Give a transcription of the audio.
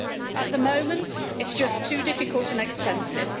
At the moment it is just too difficult and expensive.